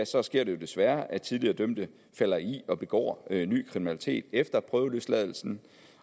så sker det jo desværre at tidligere dømte falder i og begår ny kriminalitet efter prøveløsladelsen